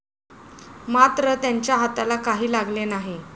मात्र त्यांच्या हाताला काही लागले नाही.